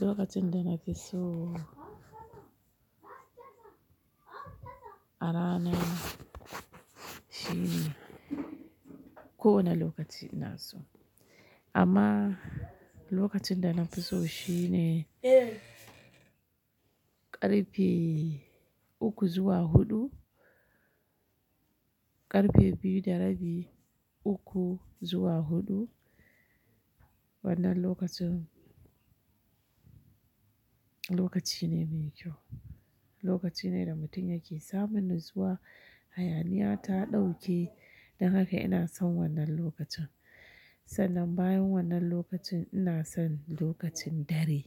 Lokacin da na fi so arana ko wani lokaci ina so. Amma lokacin da na fi so shine ƙarfe uku zuwa huɗu, ƙarfe biyu da rabi uku zuwa huɗu. Wannan lokacin, lokaci ne mai kyau. Lokaci ne da mutum yake samun natsuwa. Hayaniya ta ɗauke, don haka ina son wannan lokacin. Sannan bayan wannan lokacin ina son lokacin dare.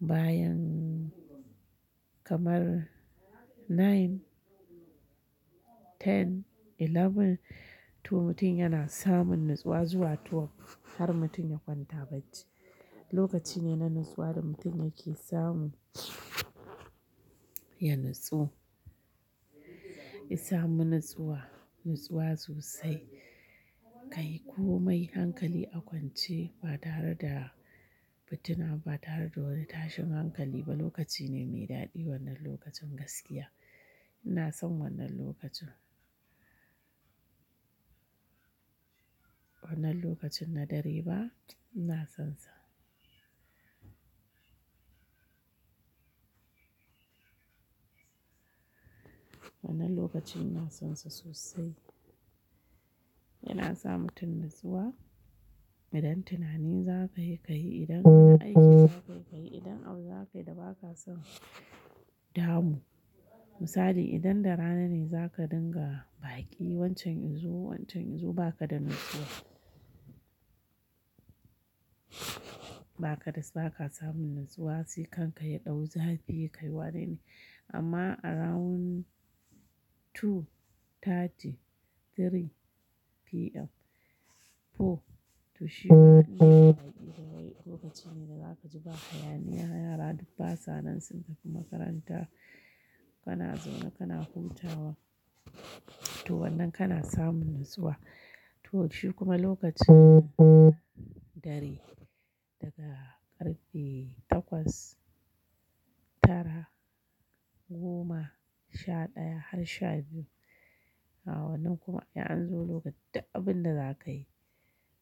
Bayan kamar nine, ten, eleven to mutum yana samun natsuwa zuwa twelve har mutum ya kwanta bacci. Lokaci ne na natsuwa da mutum yake samu ya nutsu, ya samu natsuwa, natsuwa sosai. Kai komai hankali a kwance ba tare da fitina ba tare da wani tashin hankali ba lokaci ne mai daɗi wannan lokacin gaskiya. Ina son wannan lokacin. Wannan lokacin na dare ba ina sonsa. Wannan lokacin ina sonsa sosai. Yana sa mutum natsuwa idan tunani za ka yi ka yi, idan wani aiki za ka yi ka yi, idan abu za ka yi da ba ka son damu. Misali idan da rana ne za ka dinga baƙi wancan yanzo, wancan yanzo ba ka da natsuwa. Ba ka da, ba ka samun natsuwa sai kan ka ya ɗau zafi kai wane ne. Amma around two thirty, three PM, four to shida lokaci ne da za ka ji ba hayaniya yara duk basa nan sun tafi makaranta kana zaune kana huta wa. To wannan kana samun natsuwa. To shi kuma lokacin dare daga ƙarfe takwas tara goma sha ɗaya har sha biyu. A wannan kuma an zo lokacin duk abin da za ka yi.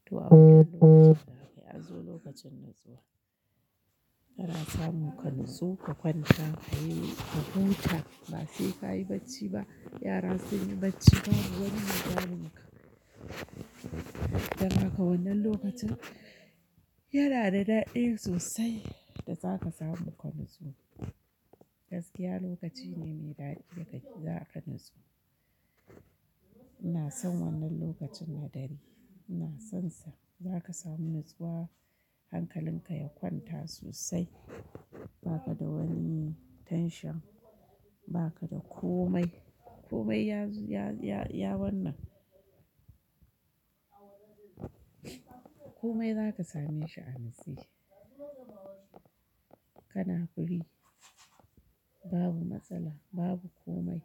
To abun lokacin da aka yi an zo lokacin natsuwa. Ana samu ka nutsu, ka kwanta, ka yi, ka huta ba sai ka yi bacci ba. Yara sun yi bacci babu wani mai damun ka. Don haka wannan lokacin yana da daɗi sosai da za ka samu ka nutsu. Gaskiya lokaci ne mai daɗi da zaka natsu. Ina son wannan lokacin na dare. Ina sonsa za ka samu natsuwa hankalin ka ya kwanta sosai ba ka da wani tension ba ka da komai. Komai ya-ya-ya wannan. Komai za ka same shi a natse. Kana free babu matsala babu komai.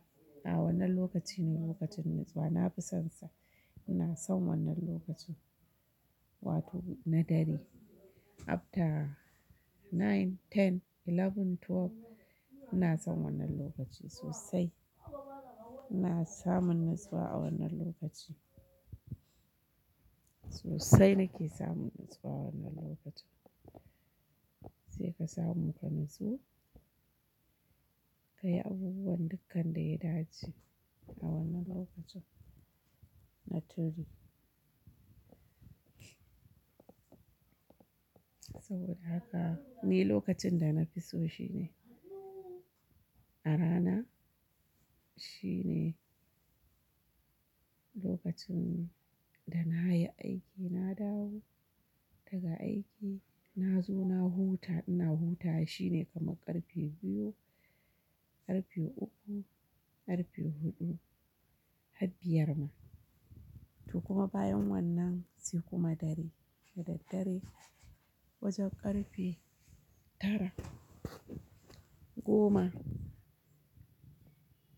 A wannan lokaci ne lokacin natsuwa na fi sonsa. Ina son wannan lokaci wato na dare after nine, ten, eleven, twelve ina son wannan lokaci sosai. Ina samun natsuwa a wannan lokaci. Sosai nake samun natsuwa wannan lokacin. Sai ka samu ka natsu, ka yi abubuwan dukkan da ya dace a wannan lokacin na three. Saboda haka ni lokacin da na fi so shine arana shine lokacin da na yi aiki na dawo daga aiki na zo na huta ina hutawa shine kamar ƙarfe biyu ƙarfe uku ƙarfe huɗu har biyar ma. To kuma bayan wannan sai kuma dare dadaddare wajen ƙarfe tara goma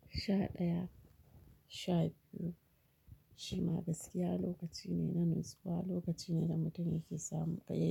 sha ɗaya sha biyu shima gaskiya lokaci ne na natsuwa lokaci ne da mutum yake samun ƙayi.